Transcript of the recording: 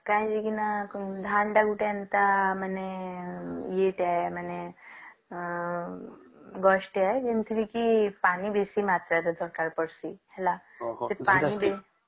କଇଁକି ନାଁ ଧଣତା ଗୋଟେ ଏନ୍ତା ମାନେ ଇଏ ଟେ ମାନେ ଉଁ ଯେମତିକି ପାନି ବେଶୀ ମାତ୍ରାରେ ଦରକାର ପଡିସି ହେଲା